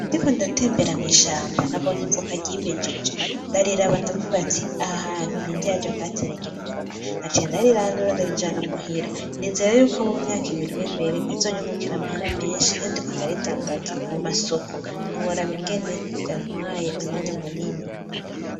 Ndiko ndatembera mw'ishamba nabonye ivoka ry'imejeje ndariraba ndavuga ati aha hantu ninde yaje kuhateragira ivoka? naciye ndarirandura ndarijana muhira nizera yuko mu myaka ibiri iri imbere rizonyungukira amahera menshi iyo ndiko ndaridandaza mu masoko ntiworaba ingene vyantwaye umwanya munini.